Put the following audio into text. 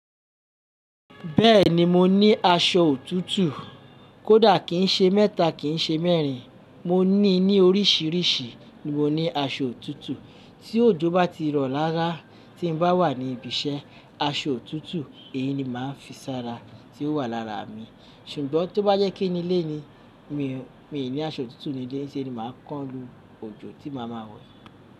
Bẹ́ẹ̀ni mo ní aṣọ òtútù. Kódà kìí ń ṣe mẹ́ta, kì í ṣe mẹ́rin, mo ní i ní oríṣìíríṣìí ni mo ní aṣọ òtútù. Tí òjò bá ti rọ̀ rára tí n bá wà ní ibi iṣẹ́, aṣọ òtútù èyí ni màá fi sára tí ó wà lára mi. Ṣùgbọ́n tó bá jẹpe ínu'lé ni, mi ò ní aṣọ òtútù nílé, iṣẹ́ ni màá kán lu òjò tí màá ma wẹ̀.